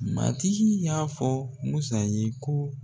Matigi y'a fɔ MUSA ye ko.